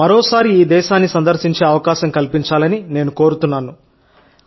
మాకు మరోసారి భారతదేశాన్ని సందర్శించే అవకాశం కల్పించాలని నేను కోరుతున్నాను